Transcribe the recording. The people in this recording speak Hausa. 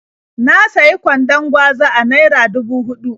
Na sayi kwandon gwaza a naira dubu huɗu.